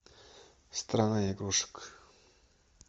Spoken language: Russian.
страна игрушек